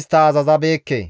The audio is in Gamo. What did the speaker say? istta azazabeekke.